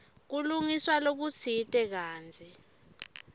kulungiswa lokutsite kantsi